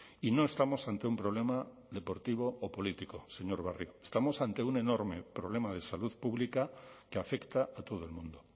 y no estamos ante un problema deportivo o político señor barrio estamos ante un enorme problema de salud pública que afecta a todo el mundo